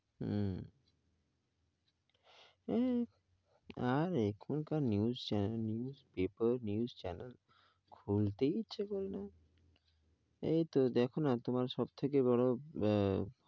হমম এই আর এখন কার news channel news paper news channel খুলতে এই ইচ্ছা করে না. এই তো দেখো না, তোমার সব থেকে বড়ো,